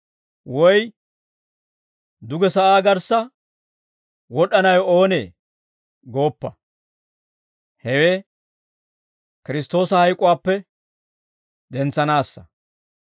woy ‹Duge sa'aa garssa wod'd'anawe oonee?› gooppa. Hewe Kiristtoosa hayk'uwaappe dentsanaassa.